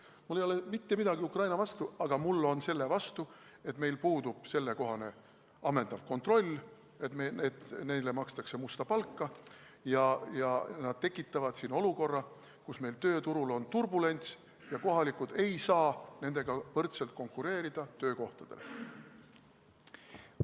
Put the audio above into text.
Mul ei ole mitte midagi Ukraina vastu, aga ma olen selle vastu, et meil puudub sellekohane ammendav kontroll, neile makstakse musta palka ja nad tekitavad siin olukorra, kus meil tööturul on turbulents ja kohalikud ei saa nendega võrdselt töökohtadele konkureerida.